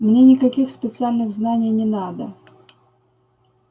мне никаких специальных знаний не надо